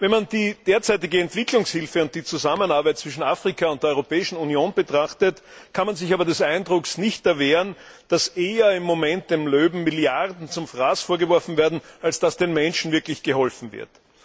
Wenn man die derzeitige Entwicklungshilfe und die Zusammenarbeit zwischen Afrika und der Europäischen Union betrachtet, kann man sich aber des Eindrucks nicht erwehren, dass im Moment eher dem Löwe Milliarden zum Fraß vorgeworfen werden, als dass den Menschen wirklich geholfen wird.